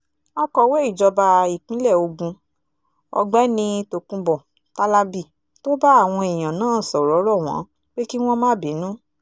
akọ̀wé ìjọba ìpínlẹ̀ ogun ọ̀gbẹ́ni tokunbo tálábì tó bá àwọn èèyàn náà sọ̀rọ̀ rọ̀ wọ́n pé kí wọ́n má bínú